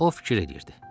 O fikir eləyirdi.